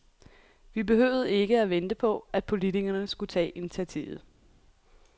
Vi behøvede ikke at vente på, at politikerne skulle tage initiativet.